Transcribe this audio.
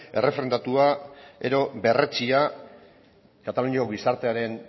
errefrendatua edo berretsia kataluniako gizartearen